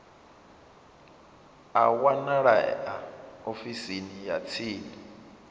a wanalea ofisini ya tsini